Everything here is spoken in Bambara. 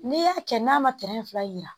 N'i y'a kɛ n'a ma fila yira